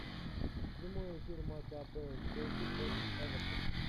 прямой эфир матча апл челси против эвертона